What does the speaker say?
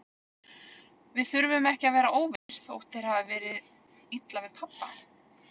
Við þurfum ekki að vera óvinir, þótt þér hafi verið illa við pabba.